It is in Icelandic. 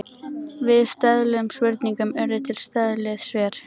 Við stöðluðum spurningum urðu til stöðluð svör.